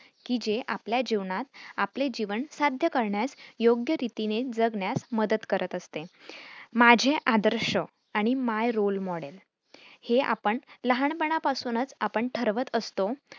कि जे आपल्या जीवनात आपले जीवन साध्य करण्यास योग्य रीतीने जगण्यास मदत करत असते. माझे आदर्श आणि my role model हे आपण लहानपणापासूनच आपण ठरवत असतो.